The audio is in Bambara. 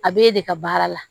A b'e de ka baara la